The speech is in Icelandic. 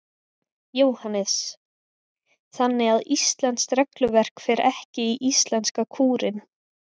Jóhannes: Þannig að íslenskt regluverk fer ekki í íslenska kúrinn?